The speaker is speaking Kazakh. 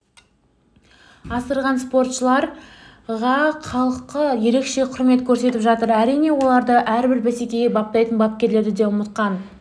асырған спортшыларға халқы ерекше құрмет көрсетіп жатыр әрине оларды әрбір бәсекеге баптайтын бапкерлерді де ұмытқан